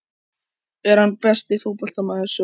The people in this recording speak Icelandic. Er hann besti fótboltamaður sögunnar?